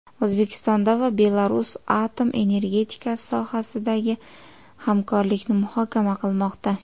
O‘zbekiston va Belarus atom energetikasi sohasidagi hamkorlikni muhokama qilmoqda.